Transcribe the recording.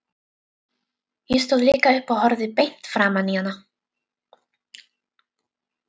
Ég stóð líka upp og horfði beint framan í hana.